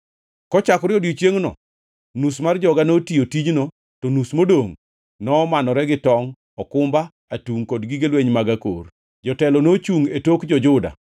Kochakore e odiechiengno, nus mar joga notiyo tijno, to nus modongʼ nomanore gi tongʼ, okumba, atungʼ kod gige lweny mag akor. Jotelo nochungʼ e tok jo-Juda duto